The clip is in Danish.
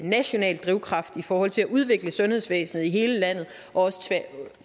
national drivkraft i forhold til at udvikle sundhedsvæsenet i hele landet og også